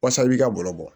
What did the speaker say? Wasa i b'i ka balo bɔ